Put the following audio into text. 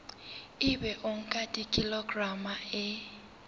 ebe o nka kilograma e